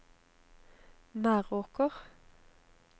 Meråker